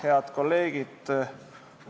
Head kolleegid!